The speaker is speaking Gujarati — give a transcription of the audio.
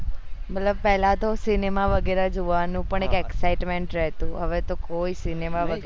મતલબ પેહલા તો સિનેમા વગેરે જોવાનું એક excitement રેહતું હવે તો કોઈ સિનેમા વગેરે